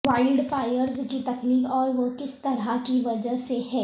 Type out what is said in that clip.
wild fires کی تخلیق اور وہ کس طرح کی وجہ سے ہیں